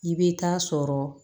I bɛ taa sɔrɔ